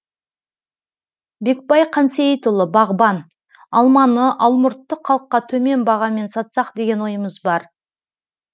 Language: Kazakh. бекбай қансейітұлы бағбан алманы алмұртты халыққа төмен бағамен сатсақ деген ойымыз бар